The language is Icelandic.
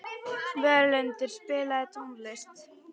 Völundur, spilaðu tónlist.